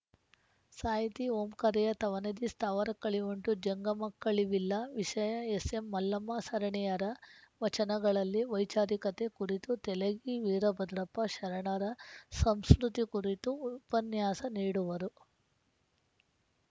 ಸಾಹಿತಿ ಓಂಕಾರಯ್ಯ ತವನಿಧಿ ಸ್ಥಾವರಕ್ಕಳಿವುಂಟು ಜಂಗಮಕ್ಕಳಿವಿಲ್ಲ ವಿಷಯ ಎಸ್‌ಎಂಮಲ್ಲಮ್ಮ ಸರಣೆಯರ ವಚನಗಳಲ್ಲಿ ವೈಚಾರಿಕತೆ ಕುರಿತು ತೆಲಗಿ ವೀರಭದ್ರಪ್ಪ ಶರಣರ ಸಂಸ್ಕೃತಿ ಕುರಿತು ಉಪನ್ಯಾಸ ನೀಡುವರು